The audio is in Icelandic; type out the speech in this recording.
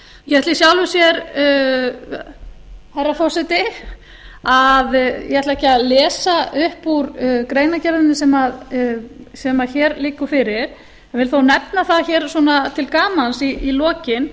ég ætla í sjálfu sér herra forseti ég ætla ekki að lesa upp úr greinargerðinni sem hér liggur fyrir en ég vil þó nefna það hér svona til gamans í lokin